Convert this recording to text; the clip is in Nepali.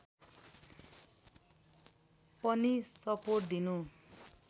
पनि सपोर्ट दिनु